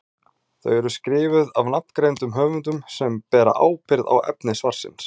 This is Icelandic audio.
Þau eru skrifuð af nafngreindum höfundum sem bera ábyrgð á efni svarsins.